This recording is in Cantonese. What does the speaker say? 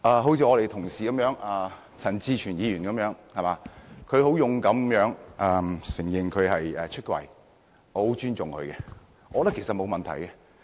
好像我們的同事陳志全議員般，他很勇敢地"出櫃"，我很尊重他，我覺得沒有問題。